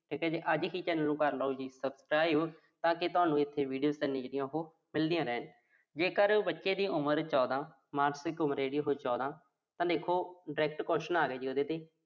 ਠੀਕ ਆ ਜੀ। ਅੱਜ ਹੀ channel ਨੂੰ ਕਰ ਲਓ ਜੀ subscribe ਤਾਂ ਕਿ ਤੁਹਾਨੂੰ ਉਥੇ videos ਜਿਹੜੀਆਂ ਉਹੋ ਮਿਲਦੀਆਂ ਰਹਿਣ। ਜੇਕਰ ਬੱਚੇ ਦੀ ਉਮਰ ਚੌਦਾ। ਮਾਨਸਿਕ ਉਮਰ ਆ ਜਿਹੜੀ ਉਹੋ ਚੌਦਾਂ ਤਾਂ ਲਿਖੋ direct question ਆਗਿਆ ਜੀ ਉਹਦੇ ਤੇ